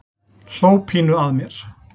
Hló pínu að mér.